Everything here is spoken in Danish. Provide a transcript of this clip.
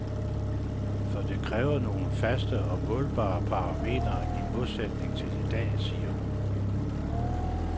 For det kræver nogle faste og målbare parametre i modsætning til i dag, siger hun.